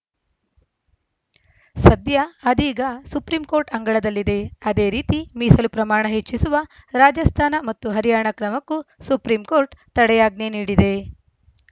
ಸದ್ಯ ಅದೀಗ ಸುಪ್ರೀಂಕೋರ್ಟ್‌ ಅಂಗಳದಲ್ಲಿದೆ ಅದೇ ರೀತಿ ಮೀಸಲು ಪ್ರಮಾಣ ಹೆಚ್ಚಿಸುವ ರಾಜಸ್ಥಾನ ಮತ್ತು ಹರಿಯಾಣ ಕ್ರಮಕ್ಕೂ ಸುಪ್ರೀಂಕೋರ್ಟ್‌ ತಡೆಯಾಜ್ಞೆ ನೀಡಿದೆ